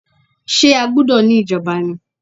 Ṣé a gbúdọ̀ ní ìjọba ni?